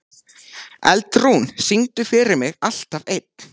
Eldrún, syngdu fyrir mig „Alltaf einn“.